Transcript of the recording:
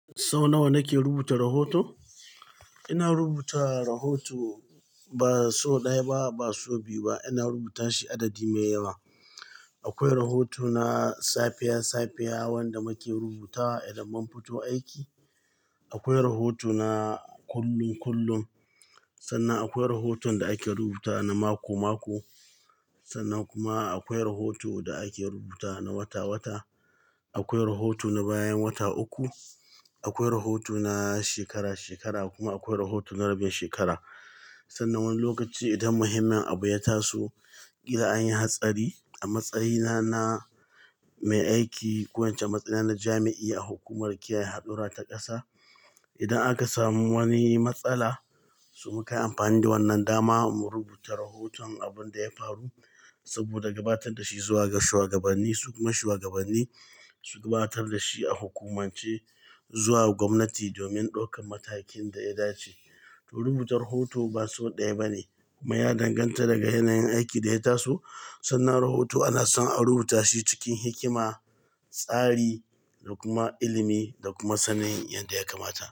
Sau nawa nake rubuta rahoto? Ina rubuta rahoto ba sau ɗaya ba, ba sau biyu ba. Ina rubuta shi adadi mai yawa. Akwai rahoto na safiya-safiya wanda muke rubuta idan mun fito aiki. Akwai rahoto na kullum-kullum. Sannan akwai rahoton da ake rubuta na mako-mako. Sannan kuma akwai rahoto da ake rubuta na wata-wata. Akwai rahoto na bayan wata uku. Akwai rahoto na shekara-shekara kuma akwai rahoto na rabin shekara. Sannan wani lokaci idan muhimmin abu ya taso, idan an yi hatsari a matsayina na mai aiki ko ince matsayi na na jami'in a hukumar kiyaye hadura ta ƙasa, idan aka samu wani matsala, su maka amfani da wannan dama mu rubuta rahoton abin da ya faru saboda gabatar da shi zuwa ga shugabanni su kuma shugabanni su gabatar da shi a hukumance zuwa gwamnati domin ɗaukan matakin da ya dace. To rubuta rahoto ba sau ɗaya ba ne kuma ya danganta daga yanayin aikin da ya taso. Sannan rahoto ana son a rubuta shi cikin hikima, tsari da kuma ilimi da kuma sanin yadda ya kamata.